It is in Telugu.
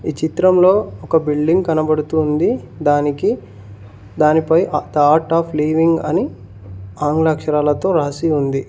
ఈ చిత్రంలో ఒక బిల్డింగ్ కనబడుతుంది దానికి దానిపై థర్డ్ ఆఫ్ లీవింగ్ అని ఆంగ్ల అక్షరాలతో రాసి ఉంది.